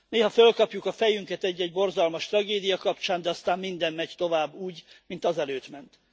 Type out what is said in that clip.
Néha fölkapjuk a fejünket egy egy borzalmas tragédia kapcsán, de aztán minden megy tovább úgy, mint azelőtt ment.